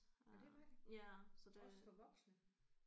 Nåh det var det. Også for voksne?